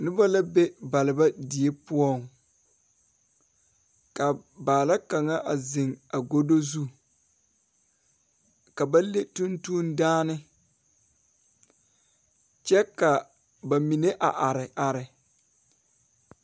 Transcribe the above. Noba la ne balba die poɔŋ kaa baala kaŋ ziŋ a godo zu ka ba le tuŋtuŋdaane kyɛ ka ba mine a are are.